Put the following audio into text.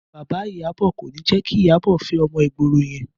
Bàbá Ìyábọ̀ kò ní jẹ́ kí Ìyábọ̀ fẹ́ ọmọ ìgboro yẹn